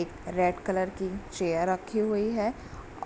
एक red colour की chair रखी हुई है